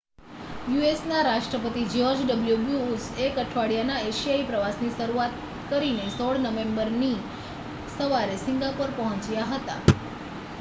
યુ.એસ.ના રાષ્ટ્રપતિ George W Bush એક અઠવાડિયાનાં એશિયા પ્રવાસની શરૂઆત કરીને 16 નવેમ્બરની સવારે સિંગાપોર પહોંચ્યા હતા